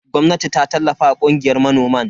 Gwamnati ta tallafa wa kungiyar manoman.